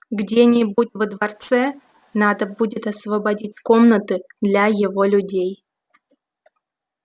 где-нибудь во дворце надо будет освободить комнаты для его людей